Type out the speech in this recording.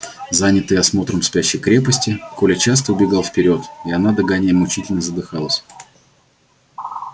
занятый осмотром спящей крепости коля часто убегал вперёд и она догоняя мучительно задыхалась